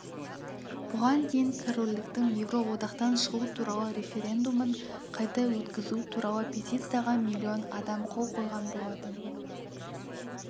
бұған дейін корольдіктің еуроодақтан шығу туралы референдумын қайта өткізу туралы петицияға миллион адам қол қойған болатын